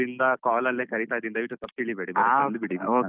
ಆದ್ರಿಂದ call ಅಲ್ಲೇ ಕರೀತಾ ಇದ್ದೀನಿ ದಯವಿಟ್ಟು ತಪ್ಪ್ ತಿಳಿಬೇಡಿ ಬಂದ್ಬಿಡಿ .